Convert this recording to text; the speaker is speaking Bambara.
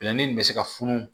nin bɛ se ka funu